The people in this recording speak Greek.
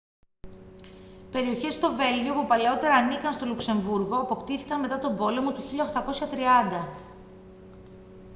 περιοχές στο βέλγιο που παλαιότερα ανήκαν στο λουξεμβρούργο αποκτήθηκαν μετά τον πόλεμο του 1830